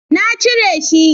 na cire shi